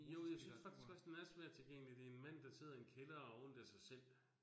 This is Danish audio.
Jo, jeg synes faktisk også, den er svært tilgængelig. Det en mand, der sidder i en kælder, og har ondt af sig selv